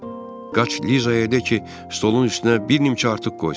Jimi, qaç Lizaya de ki, stolun üstünə bir nimçə artıq qoysun.